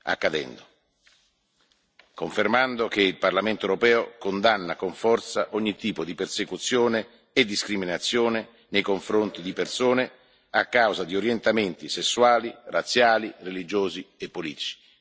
accadendo, confermando che il Parlamento europeo condanna con forza ogni tipo di persecuzione e discriminazione nei confronti di persone a causa di orientamenti sessuali, razziali, religiosi e politici.